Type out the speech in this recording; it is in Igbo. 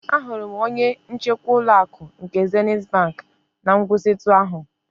Ahụrụ m onye njikwa ụlọ akụ nke Zenịt bank na nkwụsịtụ ahụ.